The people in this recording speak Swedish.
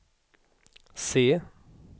se